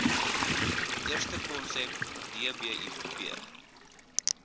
eerste konsep dbip